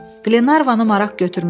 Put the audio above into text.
Qlenarvanı maraq götürmüşdü.